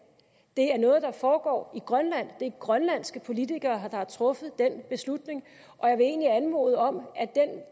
det er noget der foregår i grønland det er grønlandske politikere der har truffet den beslutning og jeg vil egentlig anmode om at